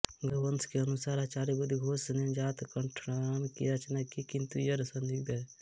गन्धवंस के अनुसार आचार्य बुद्धघोष ने ही जातकट्ठण्णना की रचना की किन्तु यह सन्दिग्ध है